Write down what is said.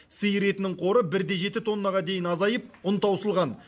сиыр етінің қоры бір де жеті тоннаға дейін азайып ұн таусылған